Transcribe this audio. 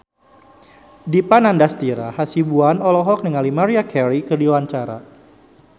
Dipa Nandastyra Hasibuan olohok ningali Maria Carey keur diwawancara